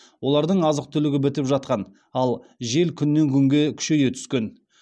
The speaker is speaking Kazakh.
олардың азық түлігі бітіп жатқан ал жел күннен күнге күшейе түскен